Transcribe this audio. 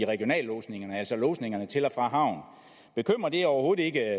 regionallodsningerne altså lodsningerne til og fra havn bekymrer det overhovedet ikke